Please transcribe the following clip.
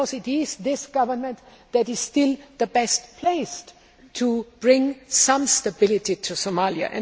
It is this government that is still best placed to bring some stability to Somalia.